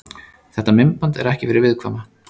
Þetta myndband er ekki fyrir viðkvæma.